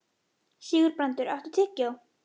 Sigurbrandur, áttu tyggjó?